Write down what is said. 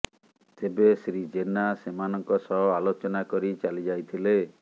ତେବେ ଶ୍ରୀ ଜେନା ସେମାନଙ୍କ ସହ ଆଲୋଚନା କରି ଚାଲି ଯାଇଥିଲେ